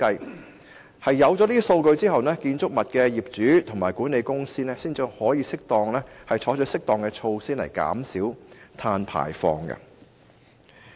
在取得有關數據後，建築物的業主和管理公司才可以採取適當措施減少碳排放。